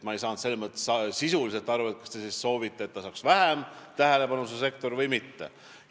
Ma ei saanud sisuliselt aru, kas te siis soovite, et see sektor saaks vähem tähelepanu, või mitte.